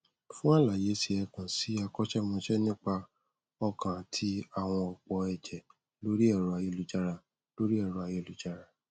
fún àlàyé si ẹ kàn sí akọṣémọṣẹ nípa ọkàn àti àwọnòpó ẹjẹ lórí ẹrọ ayélujára lórí ẹrọ ayélujára